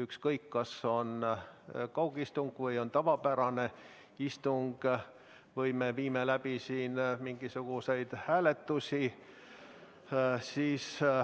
ükskõik, kas on kaugistung või tavapärane istung või me viime siin läbi mingisuguseid hääletusi.